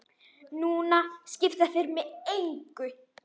Núna skipta þeir mig engu.